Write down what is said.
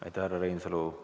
Aitäh, härra Reinsalu!